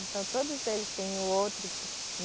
Então todos eles têm o outro que